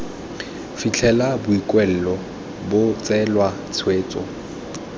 fitlhela boikuelo bo tseelwa tshwetso